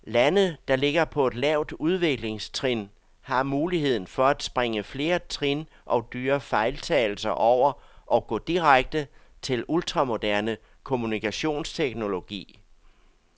Lande, der ligger på et lavt udviklingstrin, har muligheden for at springe flere trin og dyre fejltagelser over og gå direkte til ultramoderne kommunikationsteknologi.